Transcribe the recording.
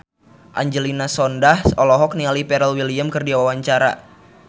Angelina Sondakh olohok ningali Pharrell Williams keur diwawancara